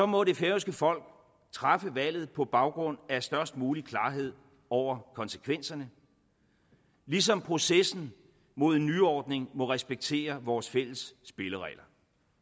må det færøske folk træffe valget på baggrund af størst mulig klarhed over konsekvenserne ligesom processen mod en nyordning må respektere vores fælles spilleregler